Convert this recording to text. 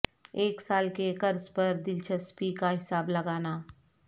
ایک سال کے قرض پر دلچسپی کا حساب لگانا